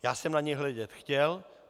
Já jsem na ně hledět chtěl.